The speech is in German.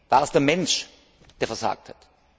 War es der Mensch, der versagt hat?